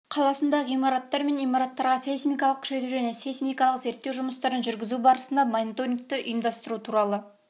қаласында ғимараттар мен имараттарға сейсмикалық күшейту және сейсмикалық зерттеу жұмыстарын жүргізу барысына мониторингті ұйымдастыру туралы